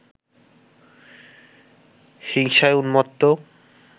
হিংসায় উন্মত্ত